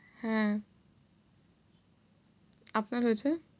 হ্যাঁ, আপনার হয়েছে?